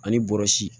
Ani bɔrɔsi